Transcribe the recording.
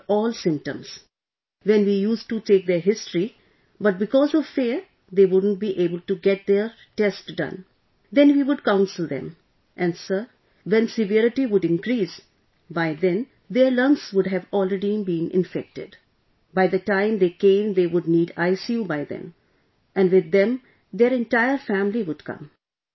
They showed all symptoms... when we used to take their history, but because of fear they wouldn't be able to get their test done, then we would counsel them ... and Sir when severity would increase, by then their lungs would have already been infected...by the time they came they would need ICU by then and with them their entire family would come